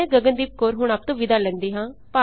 ਮੈ ਹੁੰਣ ਆਪ ਤੋ ਵਿਦਾ ਲੈਂਦੀ ਹਾਂ